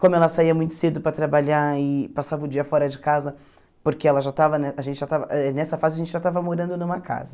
Como ela saía muito cedo para trabalhar e passava o dia fora de casa, porque ela já estava né a gente já estava eh nessa fase a gente já estava morando numa casa.